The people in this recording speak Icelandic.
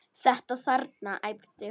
Þetta þarna, æpti hún.